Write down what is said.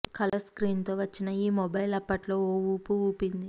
colour screen తో వచ్చిన ఈ మొబైల్ అప్పట్లో ఓ ఊపు ఊపింది